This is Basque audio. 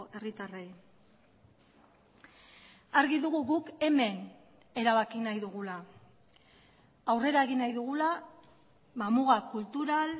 herritarrei argi dugu guk hemen erabaki nahi dugula aurrera egin nahi dugula muga kultural